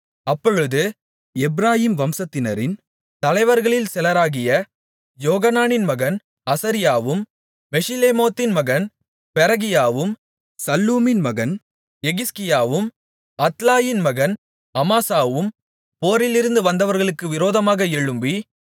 அப்பொழுது எப்பிராயீம் வம்சத்தினரின் தலைவர்களில் சிலராகிய யோகனானின் மகன் அசரியாவும் மெஷிலெமோத்தின் மகன் பெரகியாவும் சல்லூமின் மகன் எகிஸ்கியாவும் அத்லாயின் மகன் அமாசாவும் போரிலிருந்து வந்தவர்களுக்கு விரோதமாக எழும்பி